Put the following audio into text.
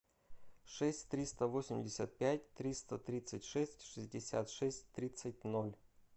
шесть триста восемьдесят пять триста тридцать шесть шестьдесят шесть тридцать ноль